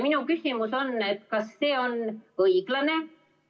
Minu küsimus on: kas see on õiglane?